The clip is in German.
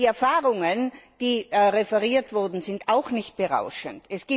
Die Erfahrungen, die referiert wurden, sind auch nicht berauschend.